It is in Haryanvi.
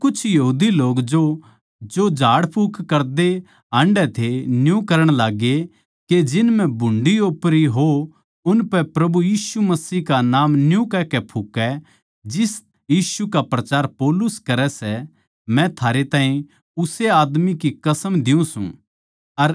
पर कुछ यहूदी लोग जो झाड़ाफूँकी करदे हान्डै थे न्यू करण लाग्गे के जिन म्ह भुंडी ओपरी आत्मा हो उनपै प्रभु यीशु का नाम न्यू कहकै फूँके जिस यीशु का प्रचार पौलुस करै सै मै थारै ताहीं उस्से आदमी की कसम दियुँ सूं